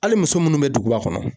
Hali muso munnu bɛ duguba kɔnɔ.